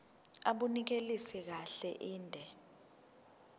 abunelisi kahle inde